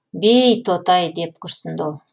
бей тоты ай деп күрсінді ол